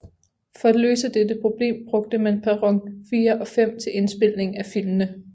For at løse dette problem brugte man perron 4 og 5 til indspilningen af filmene